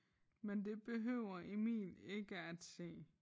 Men det behøver Emil ikke at se